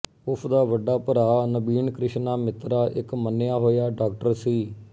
ਉਸਦਾ ਵੱਡਾ ਭਰਾ ਨਬੀਨਕ੍ਰਿਸ਼ਨਾ ਮਿੱਤਰਾ ਇੱਕ ਮੰਨਿਆ ਹੋਇਆ ਡਾਕਟਰ ਸੀ